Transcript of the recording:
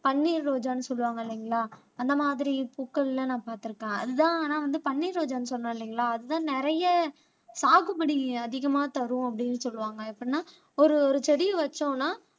பன்னீர் ரோஜான்னு சொல்லுவாங்க இல்லைங்களா அந்த மாதிரி பூக்கள்ல நான் பார்த்திருக்கேன் அதுதான் ஆனா வந்து பன்னீர் ரோஜான்னு சொன்னேன் இல்லைங்களா அதுதான் நிறைய சாகுபடி அதிகமா தரும் அப்படின்னு சொல்லுவாங்க எப்படின்னா ஒரு ஒரு செடியை வச்சோம்ன்னா